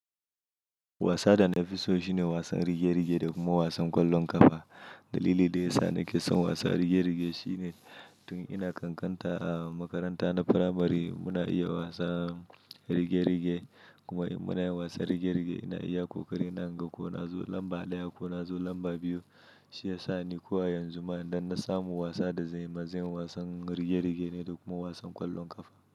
Wasa da na fi so shine wasan rige-rige da kuma wasan ƙwallon ƙafa. Dalili da ya sa ni ke son wasa rige-rige shine. Tun ina ƙanƙanta a makaranta na firamare muna iya wasa rige-rige. Kuma in muna wasa rige-rige ina iya ƙoƙari. Ina gan ko na zo lamba ɗaya ko na zo lamba biyu. Shi ya sa ni ko a yanzu ma idan na samu wasa da zan yi, ma zan yi wasan rige-rige ne da kuma wasan ƙwallon ƙafa.